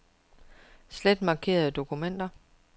Slet markerede dokumenter.